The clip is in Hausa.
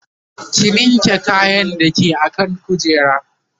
ki linke kayan da ke akan kujera